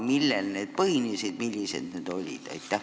Millel need põhinesid ja millised need olid?